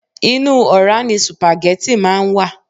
Inú ora ni supageti máa ń wà.